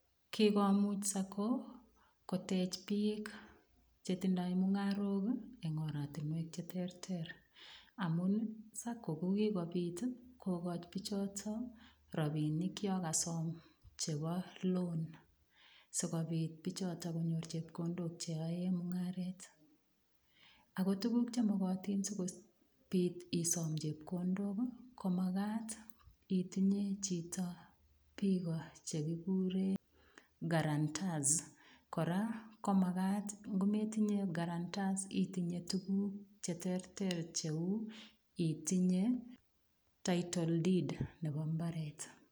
Kikomuch Sacco kotech biik che tindoi mungarook eng oratinwek che terter amun Sacco ko kigopit kokochi biichoto rapinik yokosom cheboloan sigopit biichoto konyor chepkondok che yoe mungaret. Agotuguk che mogotin sigopit isom chepkondok, ko magat itinye chito biik che kiguren karantas. Kora ko magat metinye karantas itinye tuguk cheterter cheu, itinye title deed